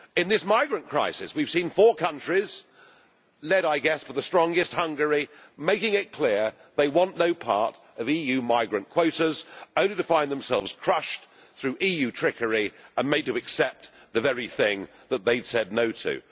In this migrant crisis we have seen four countries led, I guess, by the strongest, Hungary making it clear they want no part of EU migrant quotas, only to find themselves crushed through EU trickery and made to accept the very thing that they had said no' to.